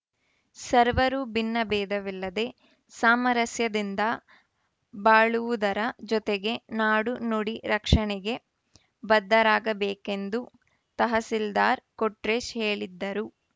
ಸರ್ವರೂ ಭಿನ್ನ ಭೇದವಿಲ್ಲದೆ ಸಾಮರಸ್ಯದಿಂದ ಬಾಳುವುದರ ಜೊತೆಗೆ ನಾಡು ನುಡಿ ರಕ್ಷಣೆಗೆ ಬದ್ಧರಾಗಬೇಕೆಂದು ತಹಸೀಲ್ದಾರ್‌ ಕೊಟ್ರೇಶ್ ಹೇಳಿದ್ಧರು